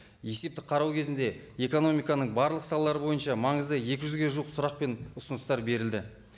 есептік қарау кезінде экономиканың барлық салалары бойынша маңызды екі жүзге жуық сұрақ пен ұсыныстар берілді